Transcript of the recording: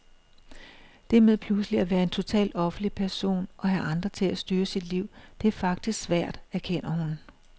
Det med pludselig at være en totalt offentlig person og have andre til at styre sit liv, det er faktisk svært, erkender hun.